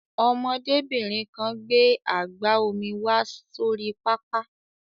Ọmọdébìnrin kan gbé àgbá omi wá sórí pápá.